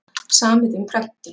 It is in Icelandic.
Samið um prentun